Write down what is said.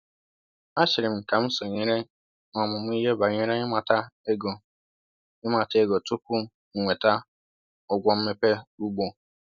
A chịrị m ka m sonyere n’ọmụmụ ihe banyere ịmata ego ịmata ego tupu m enweta ụgwọ mmepe ugbo